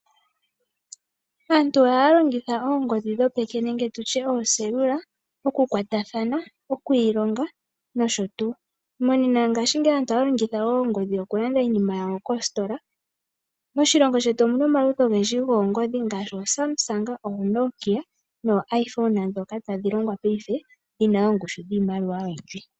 Aantu ohaya longitha oongodhi dhopeke nenge tutye ooselula oku kwatathana, okwu ilonga nosho tuu. Monena ngaashingeyi aantu ohaya longitha oongodhioku landa iinima yawo koositola. Moshilongo shetu omuna omaludhi ogendji goongodhi ngaashi ooSamsung, ooNokia nooIphone ndhoka tadhi longwa paife, dhi na oongushu dhiimaliwa oyindji.